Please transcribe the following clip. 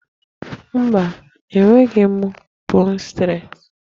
Mba, e nweghị m 'bone stret'